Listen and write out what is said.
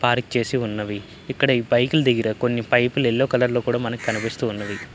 Park చేసి ఉన్నవి. ఇక్కడ బైకుల దగ్గర కొన్ని పైపులు ఎల్లో కలరు లో కూడా మనకి కనిపిస్తున్నవి.